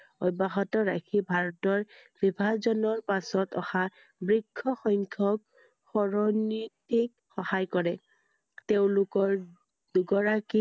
অব্য়হত ৰাখি ভাৰতৰ বিভাজনৰ পাছত অহা বৃক্ষ সংখ্যক শৰণনীতিক সহায় কৰে তেওঁলোকৰ দুগৰাকী